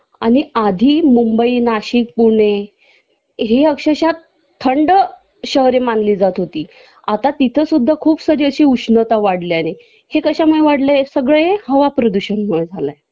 आधी मुंबई नाशिक पुणे हे अक्षरशः थंड शहरे मानली जात होती आता तिथं सुद्धा अशी खूप सारी अशी उष्णता वाढली आहे हे कशामुळे वाढलाय सगळं हे हवाप्रदूषणमुळे झालंय